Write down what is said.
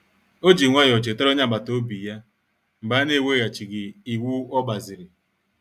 O ji nwayọọ chetara onye agbata obi ya mgbe a na-eweghachighị ịwụ ogbaziri.